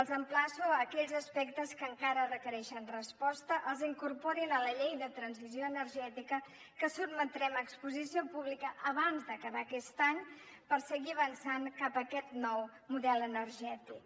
els emplaço aquells aspectes que encara requereixen resposta que els incorporin a la llei de transició energètica que sotmetrem a exposició pública abans d’acabar aquest any per seguir avançant cap a aquest nou model energètic